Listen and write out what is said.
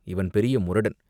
இவன் பெரிய முரடன்.